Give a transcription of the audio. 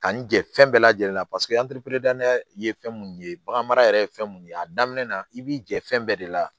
Kanni jɛ fɛn bɛɛ lajɛlen na paseke ye fɛn mun ye baganmara yɛrɛ ye fɛn mun ye a daminɛ na i b'i jɛ fɛn bɛɛ de la